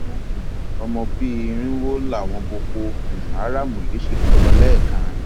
àwọn um ọmọ bíi irínwó làwọn boko um haram yìí sì kó lọ lẹẹkan